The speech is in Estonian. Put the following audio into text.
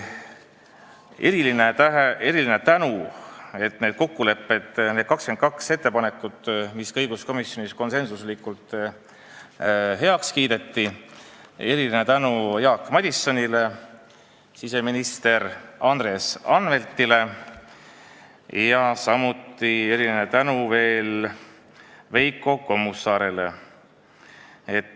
Eriline tänu selle eest, et need 22 ettepanekut õiguskomisjonis konsensuslikult heaks kiideti, Jaak Madisonile, siseminister Andres Anveltile ja veel Veiko Kommusaarele.